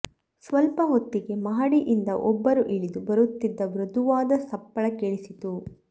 ಸ್ವಲ್ಪ ಹೊತ್ತಿಗೆ ಮಹಡಿಯಿಂದ ಒಬ್ಬರು ಇಳಿದು ಬರುತ್ತಿದ್ದ ಮೃದುವಾದ ಸಪ್ಪಳ ಕೇಳಿಸಿತು